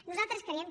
nosaltres creiem